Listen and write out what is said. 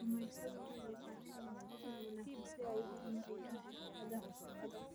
Kalluumaysatadu waxay u baahan yihiin tababar wanaagsan si ay u horumariyaan xirfadaha shaqada.